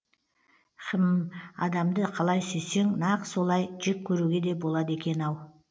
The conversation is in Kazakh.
хм адамды қалай сүйсең нақ солай жек көруге де болады екен ау